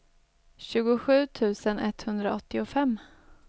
tjugosju tusen etthundraåttiofem